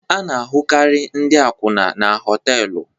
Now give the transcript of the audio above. A na-ahụkarị ndị akwụna na họtelu.